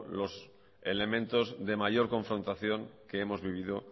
los elementos de mayor confrontación que hemos vivido